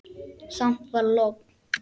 Samt var logn.